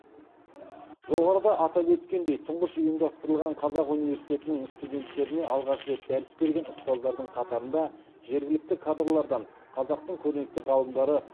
жоғарыда атап өткендей тұңғыш ұйымдастырылған қазақ университетінің студенттеріне алғаш рет дәріс берген ұстаздардың қатарында жергілікті кадрлардан қазақтың көрнекті ғалымдары